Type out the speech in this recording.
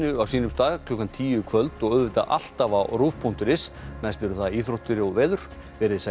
á sínum stað klukkan tíu í kvöld og alltaf á rúv punktur is næst eru það íþróttir og veður verið þið sæl